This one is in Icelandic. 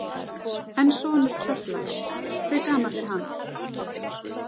En sonur Kjallaks, hve gamall er hann?